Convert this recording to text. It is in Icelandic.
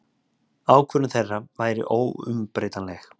Ákvörðun þeirra væri óumbreytanleg.